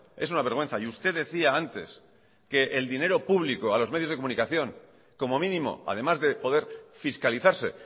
es una vergüenza y usted decía antes que el dinero público a los medios de comunicación como mínimo además de poder fiscalizarse